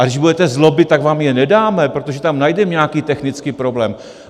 A když budete zlobit, tak vám je nedáme, protože tam najdeme nějaký technický problém.